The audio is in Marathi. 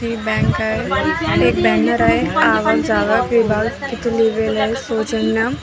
ही एक बँक आहे एक बॅनर आहे आवक जावक विभाग तिथं लिहिलेलं आहे सौजन्य --